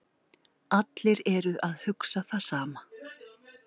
Allir eru að hugsa það sama